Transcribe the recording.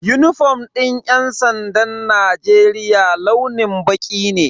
Unifom din yan sandan Najeriya launin baƙi ne.